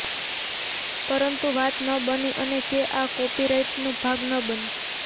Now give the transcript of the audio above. પરંતુ વાત ન બની અને કે આ કોપીરાઈટનો ભાગ ન બની